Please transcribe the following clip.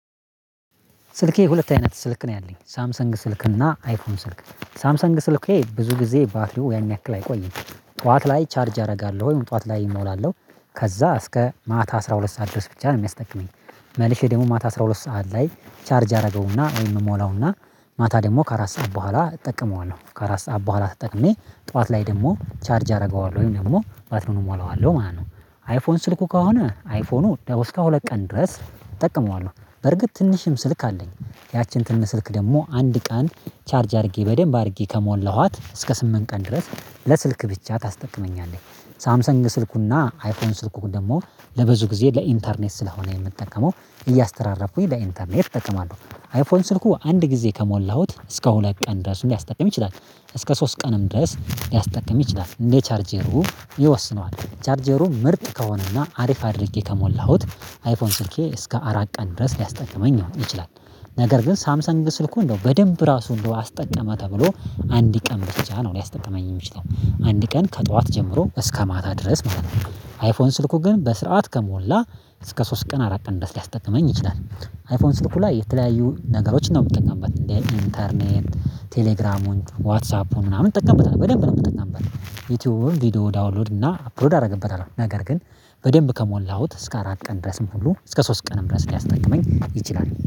ስልኬ ሁለት አይነት ስልክ ነው ያለኝ ሳምሰንግ ስልክ እና አይፎን ስልክ። ሳምሰንግ ስልክ ብዙ ጊዜ ባትሪው ያን ያክል አይቆይም ጠዋት ላይ ቻርጅ አደርጋለሁ ወይም ጠዋት ላይ እሞላለሁ ከዛ እስከ ማታ አስራ ሁለት ሰዓት ድረስ ብቻ ነው የሚያስጠቅመኝ መልሼ ደግሞ ማታ አስራ ሁለት ሰዓት ላይ ቻርጅ አደረገውና ወይ እሞላውና ማታ ደግሞ ከአራት ሰዓት በኋላ እጠቀመዋለሁ ከአራት ሰዓት በኋላ ተጠቅሜ ጠዋት ላይ ደግሞ ቻርጅ አደርገዋለሁ ወይም ደግሞ ባትሪዉን እሞላዋለሁ ማለት ነው። አይፎን ስልኩ ከሆነ አይፎኑ እስከ ሁለት ቀን ድረስ እጠቀመዋለሁ። በርግጥ ትንሽም ስልክ አለኝ ያችን ትንሽ ስልክ ደግሞ አንድ ቀን ቻርጅ አድርጌ በደንብ አድርጌ ከሞላኋት እስከ ስምንት ቀን ድረስ ለስልክ ብቻ ታስጠቅመኛለች። ሳምሰንግ ስልኩና አይፎን ስልኩ ደግሞ ለብዙ ጊዜ ለኢንተርኔት ስለሆነ የምጠቀመው እያስተራረፉኝ በኢንተርኔት እጠቀማለሁ አይፎን ስልኩ አንድ ጊዜ ከሞላሁት እስከ ሁለት ቀን ድረስ ሊያስጠቅም ይችላል እስከ ሶስት ቀንም ድረስ ሊያስጠቅም ይችላል እንደ ቻርጀሩ ይወስነዋል ቻርጀሩ ምርጥ ከሆነና አሪፍ አድርጌ ከሞላሁት አይፎን ስልኬ እስከ አራት ቀን ድረስ ሊያስጠቅመኝ ነው የሚችለው ነገር ግን ሳምሰንግ ስልኩ እንደው በደንብ ራሱ እንደው አስጠቀመ ተብሎ ቀን ብቻ ነው ሊያስጠቅመኝ የሚችለው አንድ ቀን ከጠዋት ጀምሮ እስከ ማታ ድረስ ማለት ነው አይፎን ስልኩ ግን በስርዓት ከሞላ እስከ ሶስት ቀን አራት ቀን ድረስ ሊያስጠቅመኝ ይችላል። አይፎን ስትሉ ላይ የተለያዩ ነገሮችን ነው የምትጠቀምበት እንደ ኢንተርኔት፣ ቴሌግራሙን፣ ዋትሳፑን፣ ምናምን እንጠቀምበታለን በደንብ ነው የምጠቀምበት ዩቲዩብ ቪዲዮ ዳውንሎድ እና አፕሮድ አደርግበታል ነገር ግን በደንብ ከሞላሁት እስከ አራት ቀን ድረስም ሁሉ እስከ ሶስት ቀንም ድረስ ሊያስጠቅመኝ ይችላል።